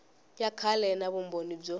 ya kahle na vumbhoni byo